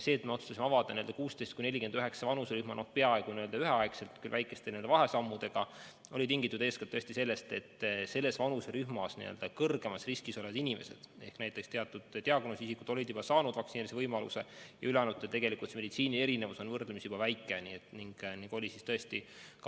See, et me otsustasime avada 16–49 vanuserühma peaaegu üheaegselt, küll väikeste vahesammudega, oli tingitud eeskätt sellest, et selles vanuserühmas kõrgemas riskis olevad inimesed ehk teatud diagnoosiga inimesed olid juba saanud vaktsineerimise võimaluse, ülejäänutel aga on meditsiinilises mõttes erinevus võrdlemisi väike.